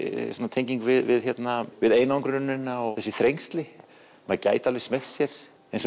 tenging við við einangrunina og þessi þrengsli maður gæti smeygt sér eins og